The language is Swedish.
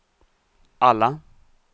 alla